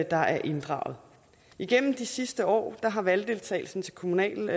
er inddraget igennem de sidste år har valgdeltagelsen til kommunal og